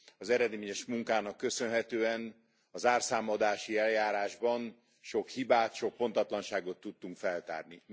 Az eredményes munkának köszönhetően a zárszámadási eljárásban sok hibát, sok pontatlanságot tudtunk feltárni.